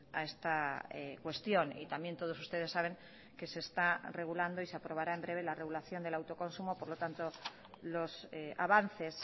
a esta cuestión y también todos ustedes saben que se está regulando y se aprobara en breve la regulación del autoconsumo por lo tanto los avances